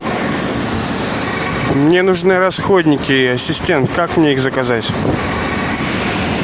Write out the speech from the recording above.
мне нужны расходники ассистент как мне их заказать